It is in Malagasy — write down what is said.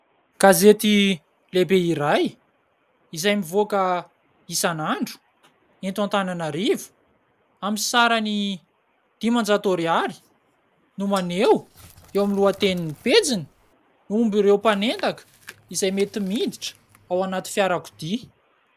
Gazety lehibe iray ! Izay mivoaka isan'andro ! Eto Antananarivo ! Amin'ny sarany dimanjato ariary ! No maneho ! Eo amin'ny lohatenin'ny pejiny ! momba ireo mpanendaka izay mety miditra ao anaty fiarakodia.